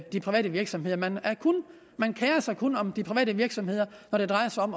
de private virksomheder man man kerer sig kun om de private virksomheder når det drejer sig om